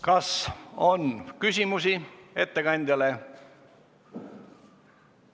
Kas on küsimusi ettekandjale?